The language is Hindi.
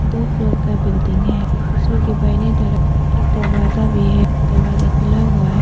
दो फ्लोर का बिल्डिंग है तस्वीर के तरफ एक दरवाजा भी है दरवाजा खुला हुआ है।